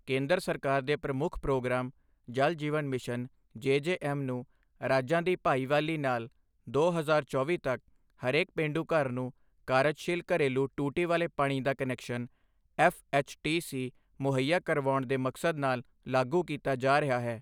ਕੇਂਦਰ ਸਰਕਾਰ ਦੇ ਪ੍ਰਮੁੱਖ programme Jal Jeevan mission JJM ਨੂੰ ਰਾਜਾਂ ਦੀ ਭਾਈਵਾਲੀ ਨਾਲ ਦੋ ਹਜ਼ਾਰ ਚੌਵੀ ਤੱਕ ਹਰੇਕ ਪੇਂਡੂ ਘਰ ਨੂੰ ਕਾਰਜਸ਼ੀਲ ਘਰੇਲੂ ਟੂਟੀ ਵਾਲੇ ਪਾਣੀ ਦਾ ਕਨੈਕਸ਼ਨ ਐਫਐਚਟੀਸੀ ਮੁਹੱਈਆ ਕਰਾਉਣ ਦੇ ਮਕਸਦ ਨਾਲ ਲਾਗੂ ਕੀਤਾ ਜਾ ਰਿਹਾ ਹੈ।